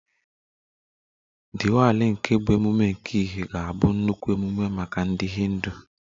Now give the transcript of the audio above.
Diwali nke bụ ememme nke ìhè, ga-abụ nnukwu ememe maka ndị Hindu